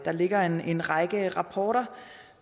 ligger en en række rapporter